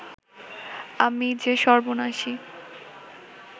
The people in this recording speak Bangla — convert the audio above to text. আমি যে সর্বনাশী